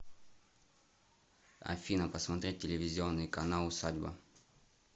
афина посмотреть телевизионный канал усадьба